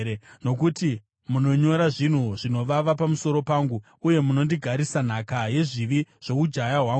Nokuti munonyora zvinhu zvinovava pamusoro pangu, uye munondigarisa nhaka yezvivi zvoujaya hwangu.